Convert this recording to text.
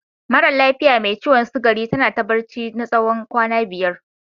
Maran lafiya mai ciwon sugari ta na ta barci na tsawon kwana biyar.